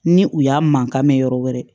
Ni u y'a mankan mɛn yɔrɔ wɛrɛ